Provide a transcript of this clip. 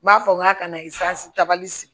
N b'a fɔ n k'a kana ta bali sigi